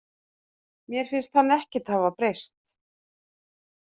Mér finnst hann ekkert hafa breyst.